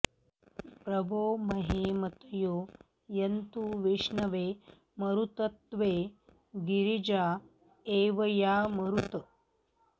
प्र वो महे मतयो यन्तु विष्णवे मरुत्वते गिरिजा एवयामरुत्